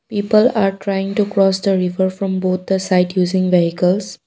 People are trying to cross the river from both the side using vehicles.